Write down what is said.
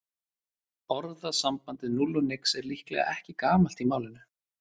Orðasambandið núll og nix er líklega ekki gamalt í málinu.